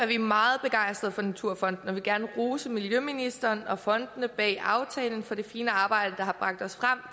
vi meget begejstrede for naturfonden og vil gerne rose miljøministeren og fondene bag aftalen for det fine arbejde der har bragt os frem